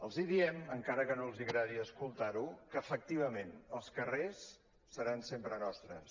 els hi diem encara que no els agradi sentir·ho que efectivament els carrers seran sempre nostres